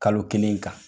Kalo kelen kan